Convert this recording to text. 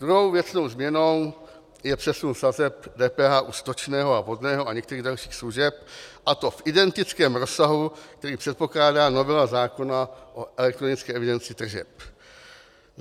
Druhou věcnou změnou je přesun sazeb DPH u stočného a vodného a některých dalších služeb, a to v identickém rozsahu, který předpokládá novela zákona o elektronické evidenci tržeb.